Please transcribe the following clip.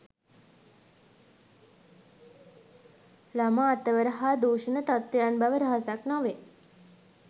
ළමා අතවර හා දූෂණ තත්වයන් බව රහසක් නොවේ